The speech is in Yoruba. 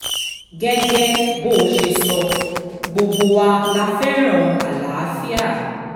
gẹ́gẹ́ bó ṣe sọ gbogbo wa la fẹ́ràn àlàáfíà